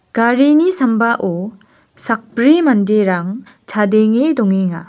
garini sambao sakbri manderang chadenge dongenga.